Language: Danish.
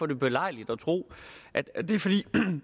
det belejligt at tro at at det er fordi